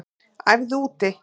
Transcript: Æfðu úti